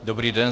Dobrý den.